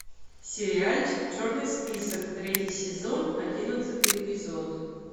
сериальчик черный список третий сезон одиннадцатый эпизод